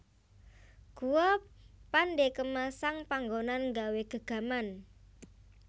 Guwa Pandekemasang panggonan nggawé gegaman